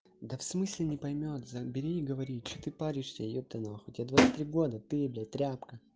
да в смысле не поймёт забери и говори что ты паришься ёпта нахуй тебе двадцать три года ты блять тряпка